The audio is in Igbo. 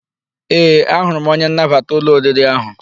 Ee, ahụrụ m onye nnabata ụlọ oriri ahụ.